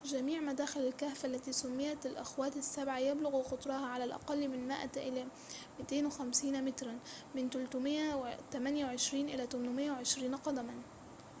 جميع مداخل الكهف، التي سُمّيت الأخوات السبعة"، يبلغ قطرها على الأقل من 100 إلى 250 متراً من 328 إلى 820 قدماً